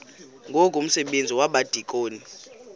ngoku umsebenzi wabadikoni